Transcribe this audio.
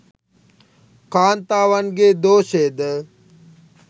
කාන්තාවන්ගේ් දෝෂයද